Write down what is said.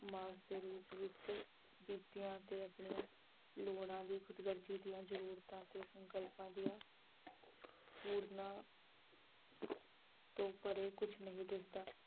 ਮਾਸ ਦੇ ਰੂਪ ਵਿੱਚ ਤੇ ਆਪਣੀਆਂ ਲੋੜਾਂ ਦੀ ਖੁਦਗਰਜੀ ਦੀਆਂ ਜ਼ਰੂਰਤਾਂ ਤੇ ਸੰਕਲਪਾਂ ਦੀਆਂ ਪੂਰਨਾਂ ਤੋਂ ਪਰੇ ਕੁਛ ਨਹੀਂ ਦਿਸਦਾ।